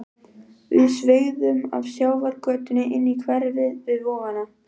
Við sveigðum af sjávargötunni inn í hverfið við Vogana.